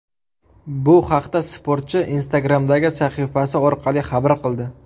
Bu haqda sportchi Instagram’dagi sahifasi orqali xabar qildi.